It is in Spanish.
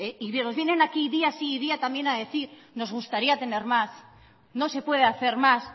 y nos vienen aquí día sí y día también a decir nos gustaría tener más no se puede hacer más